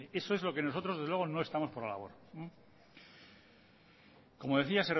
eso es lo que nosotros desde luego no estamos por la labor como decía